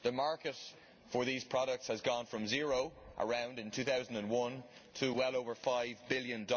The market for these products has gone from around zero in 2001 to well over USD5billion.